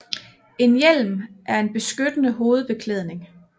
En hjelm er en beskyttende hovedbeklædning